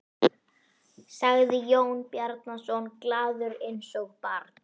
sagði Jón Bjarnason, glaður eins og barn.